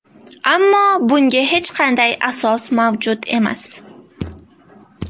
Ammo bunga hech qanday asos mavjud emas.